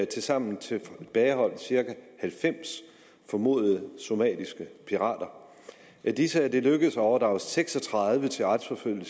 tilsammen tilbageholdt cirka halvfems formodede somaliske pirater af disse er det lykkedes at overdrage seks og tredive til retsforfølgning